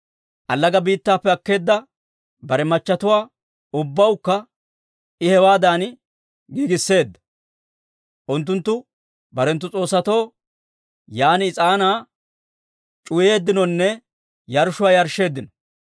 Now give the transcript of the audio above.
Allaga biittappe akkeedda bare machatuwaa ubbawukka I hewaadan giigisseedda; unttunttu barenttu s'oossatoo yaan is'aanaa c'uwayeeddinonne yarshshuwaa yarshsheeddino.